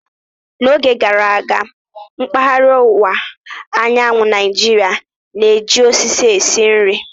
N'oge gara aga, mpaghara ọwụwa anyanwụ Naijiria na-eji osisi esi nri.